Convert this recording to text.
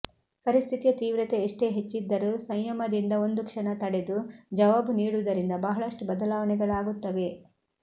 ಪರಿಸ್ಥಿತಿಯ ತೀವ್ರತೆ ಎಷ್ಟೇ ಹೆಚ್ಚಿದ್ದರೂ ಸಂಯಮದಿಂದ ಒಂದು ಕ್ಷಣ ತಡೆದು ಜವಾಬು ನೀಡುವುದರಿಂದ ಬಹಳಷ್ಟು ಬದಲಾವಣೆಗಳಾಗುತ್ತವೆ